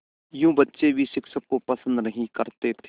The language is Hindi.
यूँ बच्चे भी शिक्षक को पसंद नहीं करते थे